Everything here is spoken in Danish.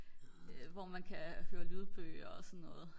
hvor man kan høre lydbøger og så noget